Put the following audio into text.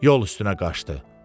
Yol üstünə qaçdı.